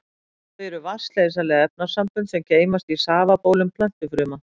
Þau eru vatnsleysanleg efnasambönd sem geymast í safabólum plöntufruma.